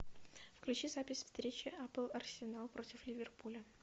включи запись встречи апл арсенал против ливерпуля